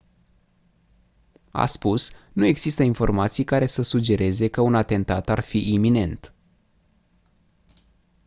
a spus «nu există informații care să sugereze că un atentat ar fi iminent.»